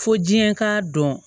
Fo diɲɛ k'a dɔn